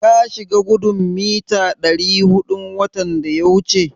Ka shiga gudun mita ɗari huɗun watan da ya wuce?